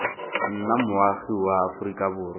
nna moagi wa aforika borwa